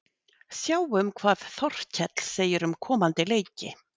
Sjáum hvað Þorkell segir um komandi leiki: